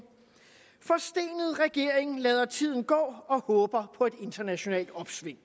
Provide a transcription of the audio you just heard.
forstenet regering lader tiden gå og håber på et internationalt opsving